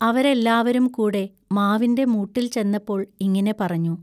അവരെല്ലാവരും കൂടെ മാവിന്റെ മൂട്ടിൽ ചെന്നപ്പോൾ ഇങ്ങിനെ പറഞ്ഞു.